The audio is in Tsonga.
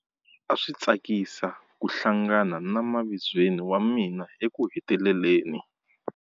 A swi tsakisa ku hlangana na mavizweni wa mina ekuheteleleni.